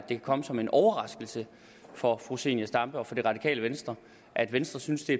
kan komme som en overraskelse for fru zenia stampe og for det radikale venstre at venstre synes det